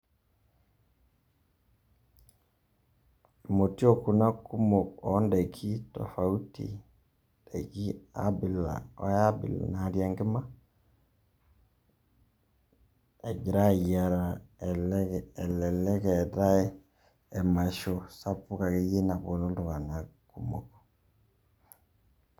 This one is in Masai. Motiok kuna kumok o ndaiki tofauti ndaiki abila o ai abila natii enkima ejira aayara, elelek eetai emasho sapuk akeye naponu iltung'anak.